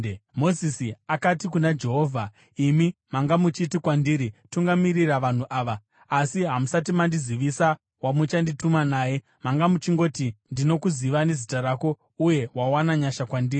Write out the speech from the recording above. Mozisi akati kuna Jehovha, “Imi manga muchiti kwandiri, ‘Tungamirira vanhu ava,’ asi hamusati mandizivisa wamuchandituma naye. Manga muchingoti, ‘Ndinokuziva nezita rako uye wawana nyasha kwandiri.’